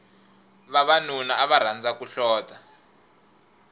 vavanuna ava rhandza ku hlota